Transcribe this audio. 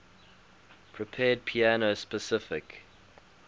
prepared piano specify